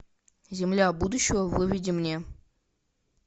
земля будущего выведи мне